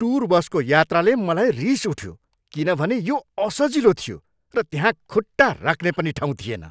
Tour बसको यात्राले मलाई रिस उठ्यो किनभने यो असजिलो थियो र त्यहाँ खुट्टा राख्ने पनि ठाउँ थिएन।